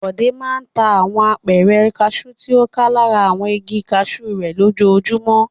Bọ̀dé máa ń ta àwọn apẹ̀rẹ̀ kaṣú tí ó ká lára àwọn igi kaṣú rẹ̀ lójoojúmọ́.